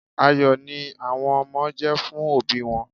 Ayọ̀ ni àwọn ọmọ jẹ́ fún òbí wọn.